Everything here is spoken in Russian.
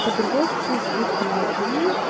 подростки слишком молодые